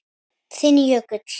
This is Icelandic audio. Þinn Jökull.